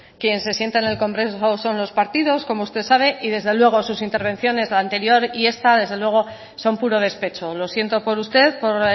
quien se sienta en el congreso son los partidos como usted sabe y desde luego sus intervenciones la anterior y esta desde luego son puro despecho lo siento por usted por